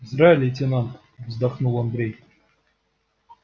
зря лейтенант вздохнул андрей